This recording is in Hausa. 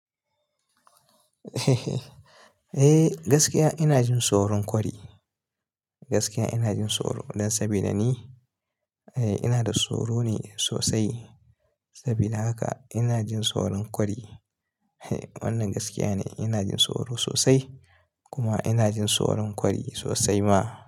Eh, gaskiya ina jin tsoron kwari. Gaskiya ina jin tsoro don saboda ni eh ina da tsoro ne sosai. Saboda haka ina jin tsoron kwari. Wannan gaskiya ne. Ina jin tsoro sosai kuma ina jin tsoron kwari sosai ma.